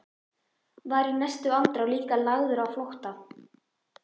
Var í næstu andrá líka lagður á flótta.